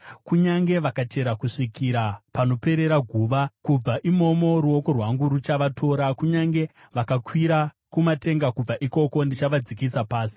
Kunyange vakachera kusvikira panoperera guva, kubva imomo ruoko rwangu ruchavatora. Kunyange vakakwira kumatenga, kubva ikoko ndichavadzikisa pasi.